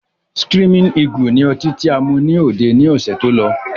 Screaming eagle ni ọtí tí a mú ní òde ni ọ̀sẹ̀ tó lọ